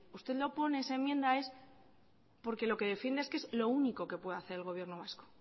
usted lo pone esa enmienda es porque lo que defiende es que es lo único que puede hacer el gobierno vasco